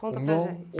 Conta para a gente.